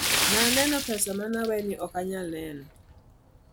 Ne aneno pesa manaweni okanyal neno".